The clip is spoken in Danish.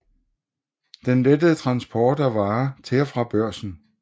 Den lettede transport af varer til og fra Børsen